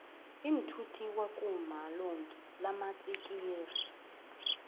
iinthuthi kwa kuma lonki namatsikixi